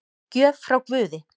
Gjöf frá guði